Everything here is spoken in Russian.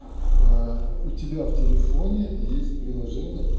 у тебя в телефоне есть приложение